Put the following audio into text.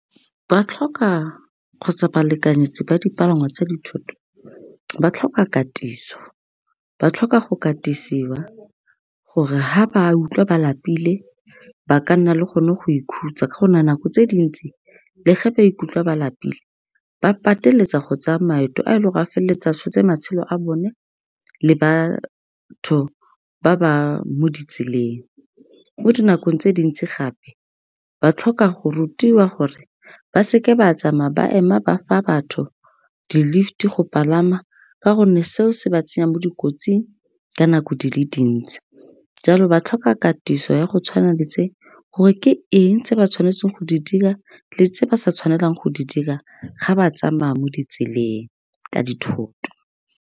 Ba tlhoka kgotsa ba lekanyetse ba dipalangwa tsa dithoto, ba tlhoka katiso, ba tlhoka go katisiwa gore ga ba utlwa ba lapile, ba ka nna le gone go ikhutsa ka gonne nako tse dintsi le ge ba ikutlwa ba lapile, ba pateletsa go tsaya maeto a e leng ka feleletsa tshotse matshelo a bone le ba batho ba ba mo ditseleng. Mo dinakong tse dintsi gape ba tlhoka go rutiwa gore ba seke ba tsamaya ba ema ba fa batho di-lift-e go palama, ka gonne seo se ba tsenya mo dikotsing ka nako di le dintsi. Jalo ba tlhoka katiso ya go tshwana le tse, gore ke eng tse ba tshwanetseng go di dira, le tse ba sa tshwanelang go di dira ga ba tsamaya mo ditseleng ka dithoto.